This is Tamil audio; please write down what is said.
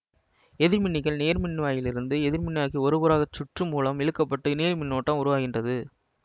எதிர்மின்னிகள் நேர்மின்வாயிலிருந்து எதிர்மின்வாய்க்கு ஒரு புற சுற்று மூலம் இழுக்க பட்டு நேர் மின்னோட்டம் உருவாகின்றது